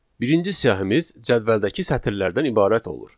Birinci siyahımız cədvəldəki sətirlərdən ibarət olur.